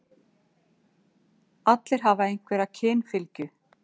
Allir hafa einhverja kynfylgju.